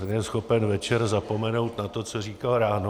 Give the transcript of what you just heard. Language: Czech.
Ten je schopen večer zapomenout na to, co říkal ráno.